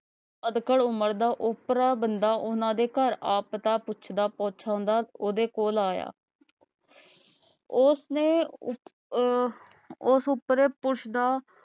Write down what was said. ਅਦਕਲ ਉਮਰ ਦਾ ਊਪਰਾ ਬੰਦਾ ਉਹਨਾਂ ਦੇ ਘਰ ਆ ਪਤਾ ਪੁੱਛਦਾ ਪੁੱਛਦਾ ਓਹਦੇ ਕੋਲ ਆਇਆ ਉਸ ਨੇ ਅਹ ਉਸ ਉਪਰੇ ਪੁਰੁਸ਼ ਦਾ